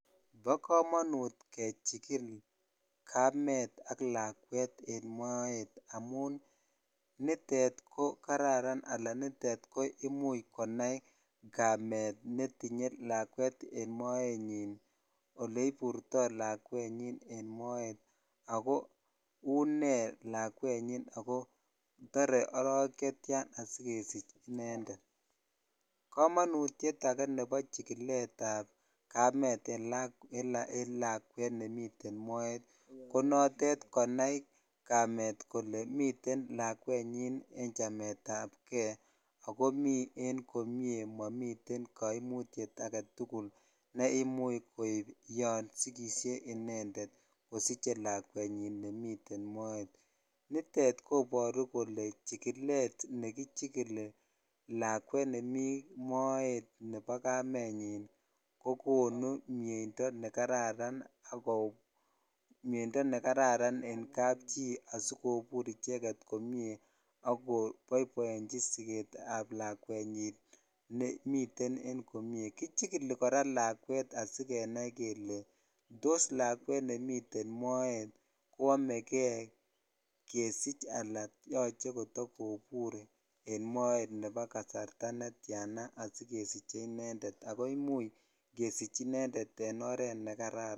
Ba kamanut kechikin kamet ak lakwet en Moet amun nitet ko kararan amun nitet amun imuche konai kamet netinye en moenyin ako eleburto lakwet en Moet ako une lakwet nyinako tare arawek chetiana sikesich inendet komonut age neba chikilet ab kamet en lakwet nemiten Moet konatet konai kamet kolebmiten lakwenyin en chamet ab gei akomi en komie mamite kaimutiet agetugul neimuche kou yasigishe inendet ngosiche lakwenyin nemiten Moet nitet kobaru Kole chikilet nekichikili lakwet nemii Moet Nebo kamenyin kokonu miendo nekararan en kapchi asikobbur icheket komie akobaibaenchi siket ab lakwenyin nemiten en komie kichikili kora lakwet sigenai Kole tos lakwet nemiten Moet koamegei kesich Alan yache kotakobur en Moet Nebo kasarta netian asikosich inendet akoimiche kesich inendet